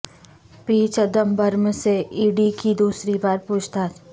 پی چدمبرم سے E D کی دوسری بار پوچھ تاچھ